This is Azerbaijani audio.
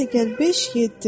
2 + 5 = 7.